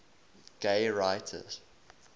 gay writers